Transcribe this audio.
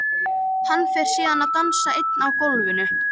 Hann fer síðan að dansa einn á gólfinu.